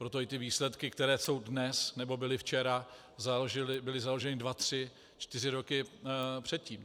Proto i ty výsledky, které jsou dnes, nebo byly včera, byly založeny dva tři čtyři roky předtím.